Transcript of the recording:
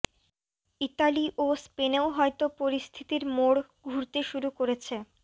Italy ও স্পেনেও হয়তো পরিস্থিতির মোড় ঘুরতে শুরু করেছে